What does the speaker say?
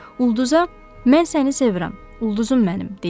Ulduza, mən səni sevirəm, ulduzumsən mənim, deyirdi.